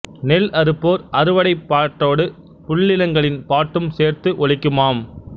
நெல் அறுப்போர் அறுவடைப் பாட்டோடு புள்ளினங்களின் பாட்டும் சேர்ந்து ஒலிக்குமாம்